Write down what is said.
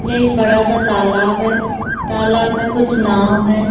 यह एक बड़ा-सा तालाब है तालाब में कुछ नाव हैं।